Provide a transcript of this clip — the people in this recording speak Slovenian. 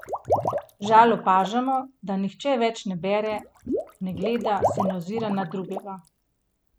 Žal opažamo, da nihče več ne bere, ne gleda, se ne ozira na drugega.